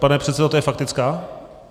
Pane předsedo, to je faktická?